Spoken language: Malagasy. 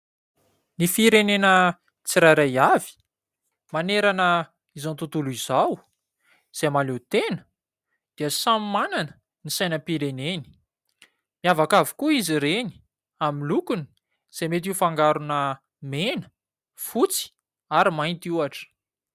Ny firenena tsirairay avy manerana izao tontolo izao izay mahaleo tena dia samy manana ny sainam-pireneny. Miavaka avokoa izy ireny amin'ny lokony izay mety ho fangarona mena, fotsy ary mainty ohatra.